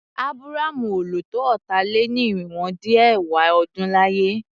Ábúrámú ò lò tó ọ̀tà-lé-ní-irinwó-dín-ẹ̀wá ọdún láyé.